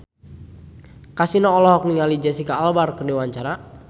Kasino olohok ningali Jesicca Alba keur diwawancara